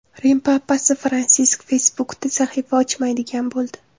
Rim papasi Fransisk Facebook’da sahifa ochmaydigan bo‘ldi.